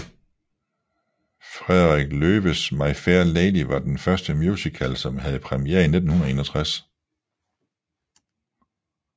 Frederick Loewes My Fair Lady var den første musical som havde premiere i 1961